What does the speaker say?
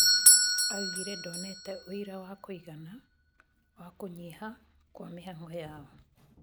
augire"Ndonete ũira wa kũĩgana wa kũnyiha kwa mĩhang'o yao"